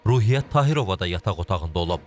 Ruhiyyət Tahirova da yataq otağında olub.